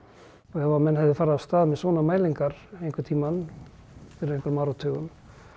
ef menn hefðu farið af stað með svona mælingar einhvern tímann fyrir einhverjum áratugum